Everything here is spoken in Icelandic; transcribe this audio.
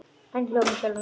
Hann hló með sjálfum sér.